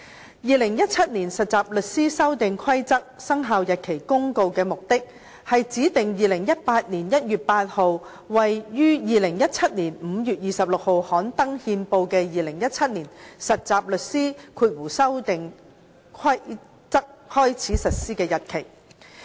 《〈2017年實習律師規則〉公告》的目的，是指定2018年1月8日為於2017年5月26日刊登憲報的《2017年實習律師規則》開始實施的日期。